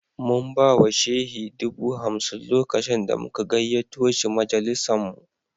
Mun ba wa Shehi dubu hamsin lokacin da muka gayyato shi majalisinmu